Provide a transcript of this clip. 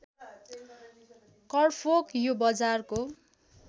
करफोक यो बजारको